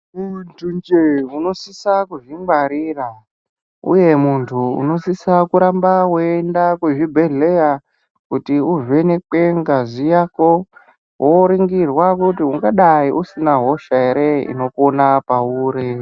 Muntu nje unosisa kuzvingwarira uye muntu unosisa kuramba weienda kuzvibhedhlera kuti uvhenekwa ngazi Yako woningirwa kuti ungadai usina hosha hre unopona pauri.